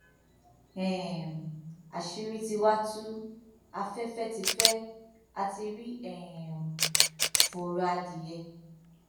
um àṣírí tí wàá tú afẹfẹ tí fẹ á ti rí um fọrọ adìyẹ